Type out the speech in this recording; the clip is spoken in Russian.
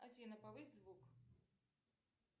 афина повысь звук